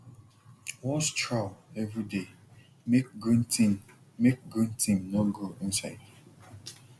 wash trough every day make green thing make green thing no grow inside